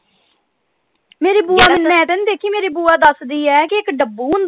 ਮੇਰੀ ਬੁਆ ਦਸਦੀ ਆ ਕੇ ਇਕ ਡੱਬੂ ਹੁੰਦਾ।